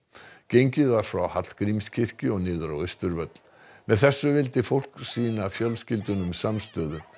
gengið var frá Hallgrímskirkju og niður á Austurvöll með þessu vildi fólk sýna fjölskyldunum samstöðu